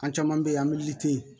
An caman bɛ yen an bɛ yiri ten